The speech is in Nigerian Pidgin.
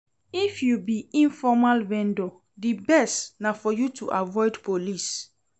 If you be informal vendor, di best na for you to avoid police.